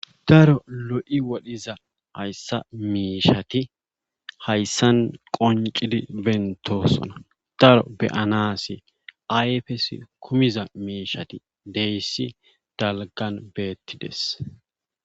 Daro lo'i woriza hayssa miishati hayssan qonccidi bentosona. daroppe be'anasi ayfes kumida miishati diyyssi dalggan beetees.